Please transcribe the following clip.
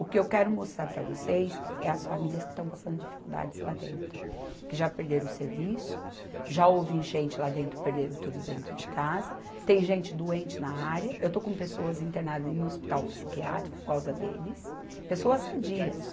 O que eu quero mostrar para vocês é as famílias que estão passando dificuldades lá dentro, que já perderam o serviço, já houve enchente lá dentro, perderam tudo dentro de casa, tem gente doente na área, eu estou com pessoas internadas em um hospital psiquiátrico por causa deles, pessoas sadias.